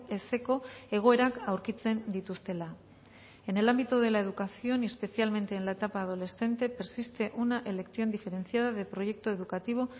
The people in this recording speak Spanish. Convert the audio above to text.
ezeko egoerak aurkitzen dituztela en el ámbito de la educación y especialmente en la etapa adolescente persiste una elección diferenciada de proyecto educativo